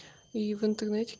и в интернете